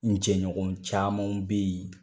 N jɛɲɔgɔn caman be yen